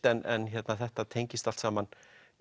en þetta tengist allt saman